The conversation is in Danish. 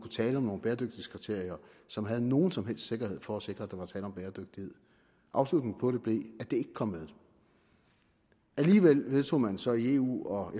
tale om nogen bæredygtighedskriterier som havde nogen som helst sikkerhed for at sikre at der var tale om bæredygtighed afslutningen på det blev at det ikke kom med alligevel vedtog man så i eu og